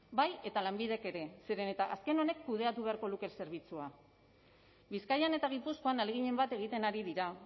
bai eta lanbidek ere zeren eta azken honek kudeatu beharko luke zerbitzua bizkaian eta gipuzkoan ahaleginen bat egiten ari dira